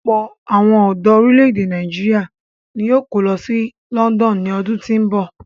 Ọ̀pọ̀ àwọn ọ̀dọ orílè-èdè Nàìjíríà ni yóò kó lọ sí London ní ọdún tí ń bọ̀.